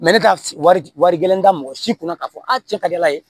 ne ka wari gɛlɛn da mɔgɔ si kunna k'a fɔ a cɛ ka di ala ye